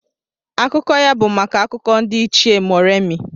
Akụkọ ya bụ maka Akụkọ ndị Ichie Moremi.